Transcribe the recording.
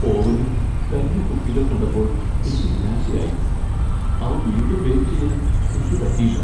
ഓവനിൽ കരിഞ്ഞ കുക്കികൾ കണ്ടപ്പോൾ എനിക്ക് നിരാശയായി . അവ വീണ്ടും ബേക്ക് ചെയ്യാൻ എനിക്ക് പറ്റിയില്ല .